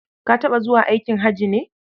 Ka taɓa zuwa aikin haji ne?